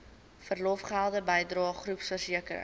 verlofgelde bydrae groepversekering